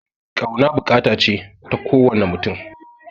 Ƙauna buƙata ce ta ko wane mutum